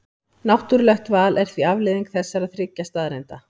Náttúrlegt val er því afleiðing þessara þriggja staðreynda.